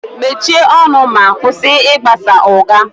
Mechie ọnụ ma kwụsị ịgbasa ụgha